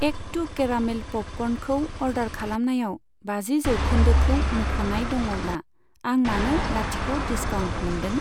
Act टु caramel प'पकर्नखौ order खालामनायाव बाजि जौखोन्दोखौ मुंख'नाय दङब्ला, आं मानो लाथिख' डिसकाउन्ट मोनदों?